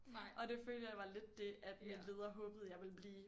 Og det følte jeg var lidt det at min leder håbede jeg ville blive